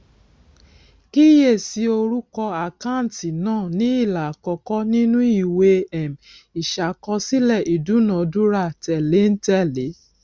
kíyèsí orúkọ àkáǹtì náà ní ilà àkọkọ nínú ìwé um ìṣàkọsílẹ ìdúnadúrà tẹléǹtẹlẹ